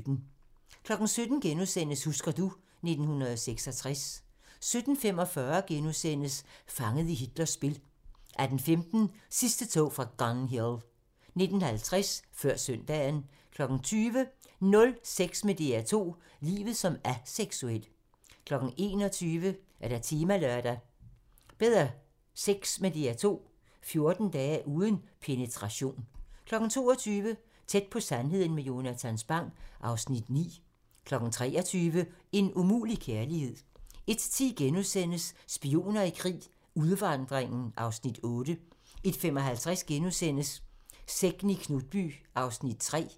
17:00: Husker du ... 1966 * 17:45: Fanget i Hitlers spil * 18:15: Sidste tog fra Gun Hill 19:50: Før søndagen 20:00: Nul sex med DR2 - livet som aseksuel 21:00: Temalørdag: Bedre sex med DR2 - 14 dage uden penetration 22:00: Tæt på sandheden med Jonatan Spang (Afs. 9) 23:00: En umulig kærlighed 01:10: Spioner i krig: Udvandringen (Afs. 8)* 01:55: Sekten i Knutby (3:6)*